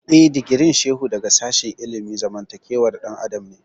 Eh, digirin Shehu daga sashen ilimin zamantakewar ɗan adam ne